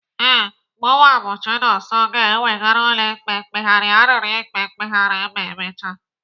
Ee, mụwa bụ Chinonso ga-ewegara ụlọ ikpe mkpegharị arịrịọ ikpe mkpegharị ma emecha.